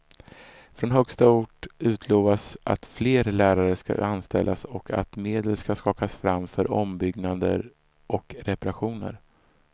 Från högsta ort utlovas att fler lärare ska anställas och att medel ska skakas fram för ombyggnader och reparationer.